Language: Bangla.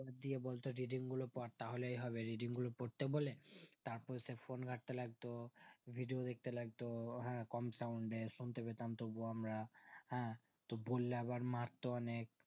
দিয়ে বলতো reading গুলো পর তাহলেই হবে reading গুলো পড়তে বলে তারপরে sir phone ঘাটতে লাগতো video দেখতে লাগতো কম sound এ শুনতেপেতাম তবুও আমরা হ্যাঁ বললে আবার মারতো অনেক